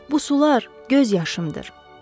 Bu sular göz yaşımdır.